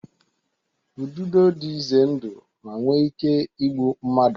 Ududo dị ize ndụ ma nwee ike igbu mmadụ